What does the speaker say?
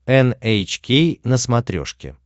эн эйч кей на смотрешке